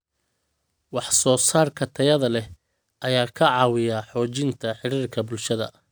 Wax soo saarka tayada leh ayaa ka caawiya xoojinta xiriirka bulshada.